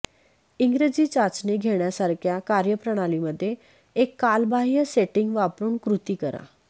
इंग्रजी चाचणी घेण्यासारख्या कार्यप्रणालीमध्ये एक कालबाह्य सेटिंग वापरुन कृती करा